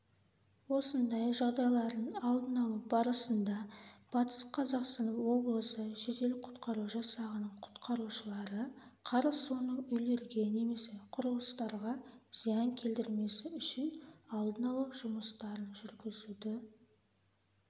осындай жағдайлардың алдын-алу барысында батыс қазақстан облысы жедел-құтқару жасағының құтқаршылары қар суының үйлерге немесе құрылыстарға зиян келтірмесі үшін алдын-алу жұмыстарын жүргізуді